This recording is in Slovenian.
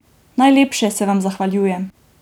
Najlepše se vam zahvaljujem!